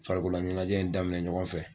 Farikolo ɲɛnajɛ in daminɛ ɲɔgɔn fɛ.